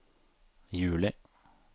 juli